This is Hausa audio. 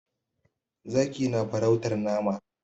Zaki na farautar nama.